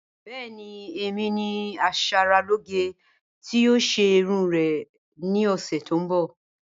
Bẹẹni emi ni aṣaralòge ti yoo ṣe irun ori rẹ ni ọsẹ to nbọ.